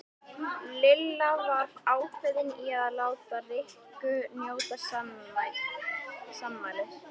Lilla var ákveðin í að láta Rikku njóta sannmælis.